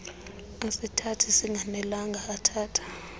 asithatha singanelanga athatha